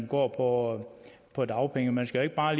går på dagpenge man skal ikke bare